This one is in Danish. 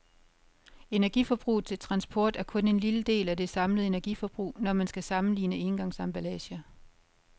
Energiforbruget til transport er kun en lille del af det samlede energiforbrug, når man skal sammenligne engangsemballager.